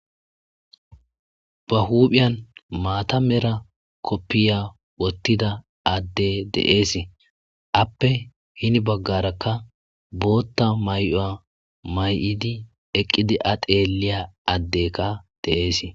Ba huuphiyan maatamera koppiya wottida adde deees appe hini baggarakka bootta may,oya may7idi eqqidi ateelliya addekka .deees.